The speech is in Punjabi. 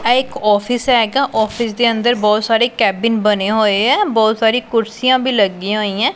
ਆਹ ਇੱਕ ਔਫਿਸ ਹੈਗਾ ਔਫਿਸ ਦੇ ਅੰਦਰ ਬਹੁਤ ਸਾਰੇ ਕੈਬਿਨ ਬਨੇ ਹੋਏ ਹੈਂ ਬਹੁਤ ਸਾਰੀ ਕੁਰਸੀਆਂ ਵੀ ਲੱਗਿਆਂ ਹੋਈ ਹੈਂ।